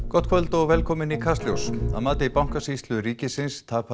gott kvöld og velkomin í Kastljós að mati Bankasýslu ríkisins tapaði